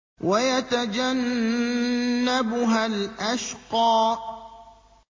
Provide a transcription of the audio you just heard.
وَيَتَجَنَّبُهَا الْأَشْقَى